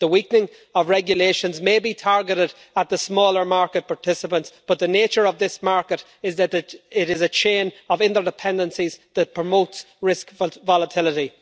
The weakening of regulations may be targeted at the smaller market participants, but the nature of this market is that it is a chain of interdependencies that promotes risk volatility.